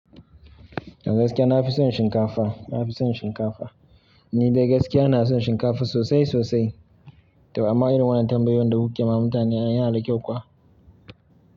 Gaskiya na fi son shinkafa, na fi son shinkafa. Ni dai gaskiya na son shinkafa sosai sosai. To amma irin wannan tambayoyin da kuke ma mutane an yi ala kyau kuwa?